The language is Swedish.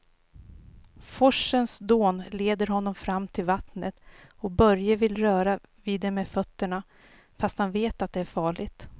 Forsens dån leder honom fram till vattnet och Börje vill röra vid det med fötterna, fast han vet att det är farligt.